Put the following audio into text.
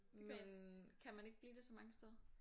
Men kan man ikke blive det så mange steder?